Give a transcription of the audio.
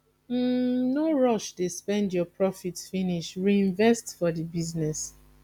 no rush dey spend your profit finish reinvest for di business